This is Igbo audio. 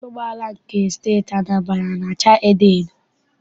Ụgbọala nke Steeti Anambra ana acha edoedo?